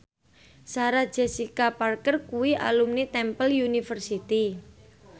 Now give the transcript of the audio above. Sarah Jessica Parker kuwi alumni Temple University